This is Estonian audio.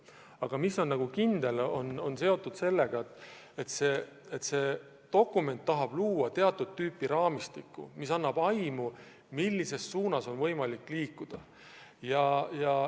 Aga üks on kindel: see dokument tahab luua teatud raamistiku, mis annab aimu, millises suunas on võimalik liikuda.